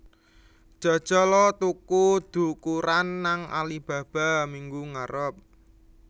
Jajal o tuku ndukuran nang Alibaba minggu ngarep